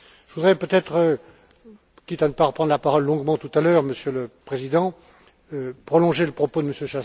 Je voudrais peut être, quitte à ne pas reprendre la parole longuement tout à l'heure, Monsieur le Président, prolonger le propos de M.